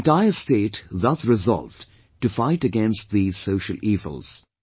The entire state thus resolved to fight against these social evils